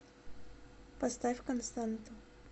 поставь константу